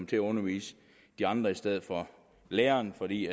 til at undervise de andre i stedet for læreren fordi